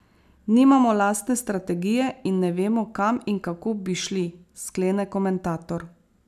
Nimamo lastne strategije in ne vemo, kam in kako bi šli, sklene komentator.